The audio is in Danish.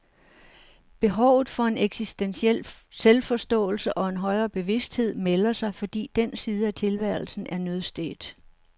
Behovet for en eksistentiel selvforståelse og en højere bevidsthed melder sig, fordi den side af tilværelsen er nødstedt.